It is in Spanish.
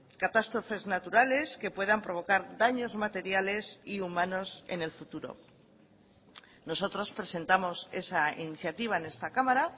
catástrofes naturales que puedan provocar daños materiales y humanos en el futuro nosotros presentamos esa iniciativa en esta cámara